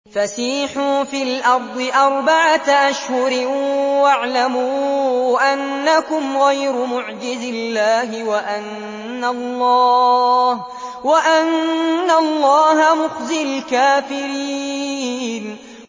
فَسِيحُوا فِي الْأَرْضِ أَرْبَعَةَ أَشْهُرٍ وَاعْلَمُوا أَنَّكُمْ غَيْرُ مُعْجِزِي اللَّهِ ۙ وَأَنَّ اللَّهَ مُخْزِي الْكَافِرِينَ